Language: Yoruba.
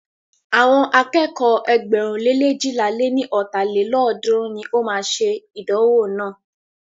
Àwọn akẹ́kọ̀ọ́ ẹgbẹ̀rún le leéjìlá lé ní ọ́ta lélọ́ọ̀dúnrún ní o máa ṣe ìdánwò náà.